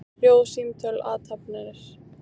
Hljóð, símtöl, athafnir.